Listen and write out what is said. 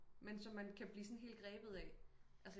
Men som man kan blive sådan helt græbet af